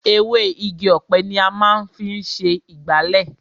Ewé Igi ọ̀pẹ ni a máa ń fi ṣe ìgbálẹ̀.